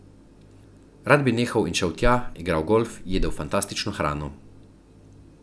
Rad bi nehal in šel tja, igral golf, jedel fantastično hrano.